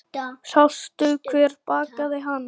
Sástu hver bakaði hana?